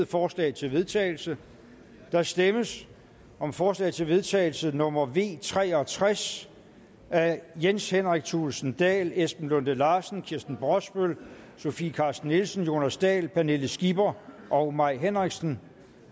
forslag til vedtagelse der stemmes om forslag til vedtagelse nummer v tre og tres af jens henrik thulesen dahl esben lunde larsen kirsten brosbøl sofie carsten nielsen jonas dahl pernille skipper og mai henriksen